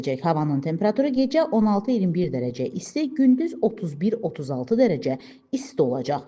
Havanın temperaturu gecə 16-21 dərəcə isti, gündüz 31-36 dərəcə isti olacaq.